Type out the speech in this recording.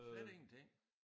Slet ingenting